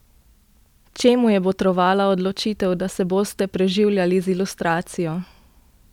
Čemu je botrovala odločitev, da se boste preživljali z ilustracijo?